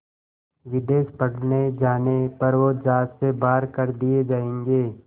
विदेश पढ़ने जाने पर वो ज़ात से बाहर कर दिए जाएंगे